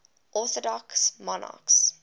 orthodox monarchs